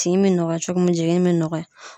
Tin be nɔgɔya cogo min, jiginni be nɔgɔya